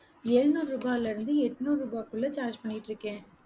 எழுநூறு ரூபாயில இருந்து எண்ணூறு ரூபாய்க்குள்ள charge பண்ணிட்டிருக்கேன்